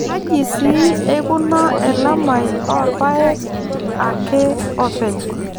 Kaji sii eukuna elamai oo rpayek ake oopeny.